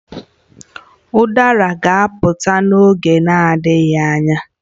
Udara ga-apụta n'oge na-adịghị anya